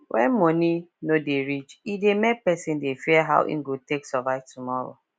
when money no dey reach e dey make person dey fear how e go take survive tomorrow